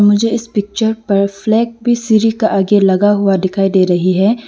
मुझे इस पिक्चर पर फ्लैग भी सीरी का आगे लगा हुआ दिखाई दे रही है।